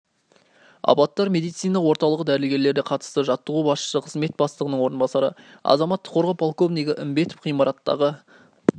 апаттар медицина орталығы дәрігерлері қатысты жаттығу басшысы қызмет бастығының орынбасары азаматтық қорғау полковнигі імбетов ғимараттағы